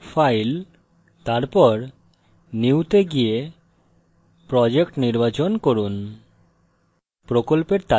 file তারপর new go go project নির্বাচন করুন